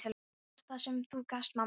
Þú gafst það sem þú gast, mamma.